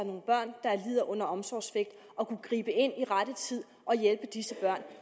lider under omsorgssvigt og kunne gribe ind i rette tid og hjælpe disse børn